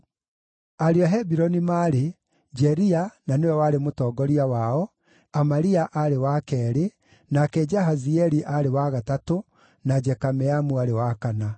Ariũ a Hebironi maarĩ: Jeria na nĩwe warĩ mũtongoria wao, Amaria aarĩ wa keerĩ, nake Jahazieli aarĩ wa gatatũ, na Jekameamu aarĩ wa kana.